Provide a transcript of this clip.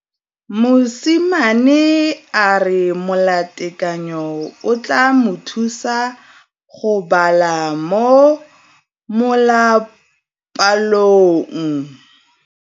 Mosimane a re molatekanyô o tla mo thusa go bala mo molapalong.